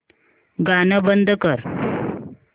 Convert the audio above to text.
गाणं बंद कर